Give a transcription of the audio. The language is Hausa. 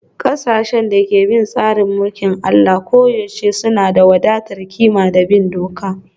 Ƙasashen da ke bin tsarin mulkin Allah koyaushe suna da wadatar ƙima da bin doka